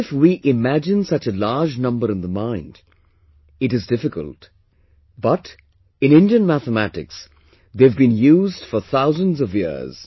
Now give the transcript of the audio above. Even if we imagine such a large number in the mind, it is difficult, but, in Indian mathematics, they have been used for thousands of years